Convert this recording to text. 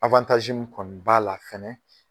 min kɔni b'a la fɛnɛ